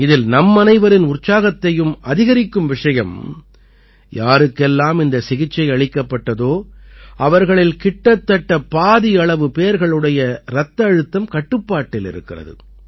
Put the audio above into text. இதில் நம்மனைவரின் உற்சாகத்தையும் அதிகரிக்கும் விஷயம் யாருக்கெல்லாம் இந்த சிகிச்சை அளிக்கப்பட்டதோ அவர்களில் கிட்டத்தட்ட பாதியளவு பேர்களுடைய இரத்த அழுத்தம் கட்டுப்பாட்டில் இருக்கிறது